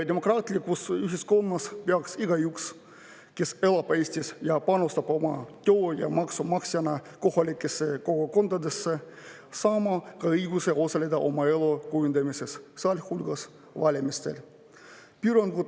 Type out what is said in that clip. Demokraatlikus ühiskonnas peaks igaüks, kes elab siin ja panustab oma tööga ja maksumaksjana kohalikesse kogukondadesse, saama ka õiguse osaleda oma elu kujundamises, sealhulgas valimistel.